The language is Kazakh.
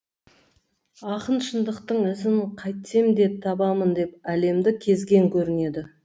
ақын шындықтың ізін қайтсем де табамын деп әлемді кезген көрінеді